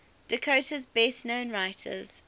dakota's best known writers